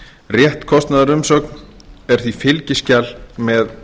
rétt kostnaðarumsögn er því fylgiskjal með